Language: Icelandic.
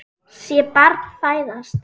Sé barn fæðast.